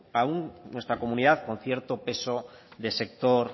nuestra comunidad con cierto peso de sector